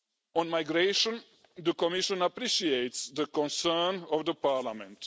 On migration, the Commission appreciates the concern of Parliament.